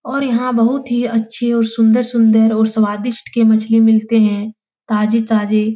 और यहाँ बहुत ही अच्छे और सुंदर-सुंदर और स्वादिष्ट के मछली मिलते है ताजे-ताजे।